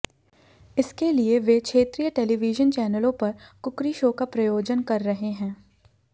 इसके लिए वे क्षेत्रीय टेलीविजन चैनलों पर कुकरी शो का प्रायोजन कर रहे हैं